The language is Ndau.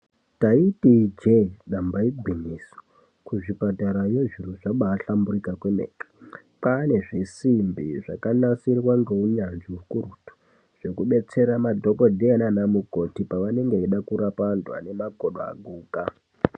Taiti ijee, damba igwinyiso. Kuzvipatarayo zviro zvabaa hlamburika kwemene. Kwaane zvisimbi zvakanasirwa ngeu nyanzvi ukurutu, zveku betsera madhokodheya nana mukoti pavanenge vechida kurapa anhu ane makodo aguka.